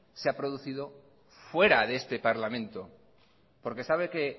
se ha producido fuera de este parlamento porque sabe que